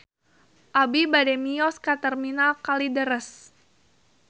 Abi bade mios ka Terminal Kalideres